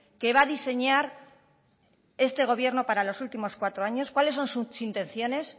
que va a diseñar este gobierno para los últimos cuatro años cuáles son sus intenciones